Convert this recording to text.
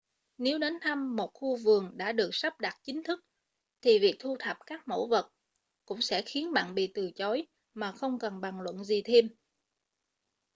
nếu đến thăm một khu vườn đã được sắp đặt chính thức thì việc thu thập các mẫu vật cũng sẽ khiến bạn bị từ chối mà không cần bàn luận gì thêm